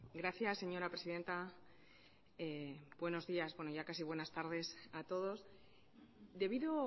gracias señora presidenta buenos días bueno ya casi buenas tardes a todos debido